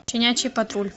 щенячий патруль